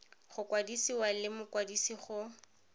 go kwadisiwa le mokwadise go